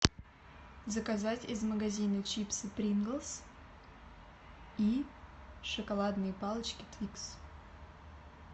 заказать из магазина чипсы приглс и шоколадные палочки твикс